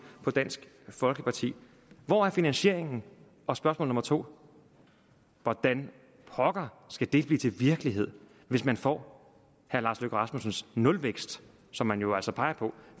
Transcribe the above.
på dansk folkeparti hvor er finansieringen og spørgsmål nummer 2 hvordan pokker skal det blive til virkelighed hvis man får herre lars løkke rasmussens nulvækst som man jo altså peger på